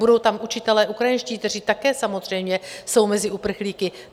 Budou tam učitelé ukrajinští, kteří také samozřejmě jsou mezi uprchlíky?